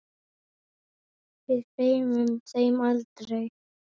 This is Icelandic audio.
Við gleymum þeim aldrei.